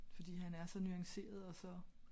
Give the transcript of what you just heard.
Fordi han er så nuanceret og så